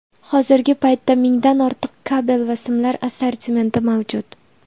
Hozirgi paytda mingdan ortiq kabel va simlar assortimenti mavjud.